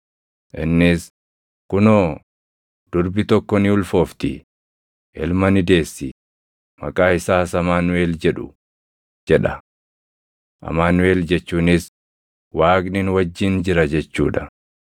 Innis, “Kunoo, durbi tokko ni ulfoofti; ilma ni deessi; maqaa isaas Amaanuʼel jedhu” + 1:23 \+xt Isa 7:14\+xt* jedha. Amaanuʼel jechuunis, “Waaqni nu wajjin jira” jechuu dha.